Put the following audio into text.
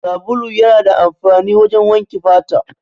Sabulu yana da amfani wajen wanke fata.